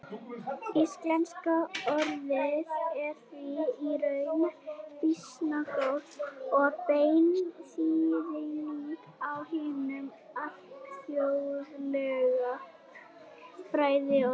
Íslenska orðið er því í rauninni býsna góð og bein þýðing á hinu alþjóðlega fræðiorði.